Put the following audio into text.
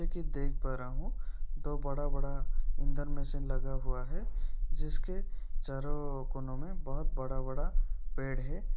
एक ये देख पा रहा हूँ दो बड़ा-बड़ा इंधन मशीन लगा हुआ है जिसके चारों कोनों मे बहुत बड़ा-बड़ा पेड़ है।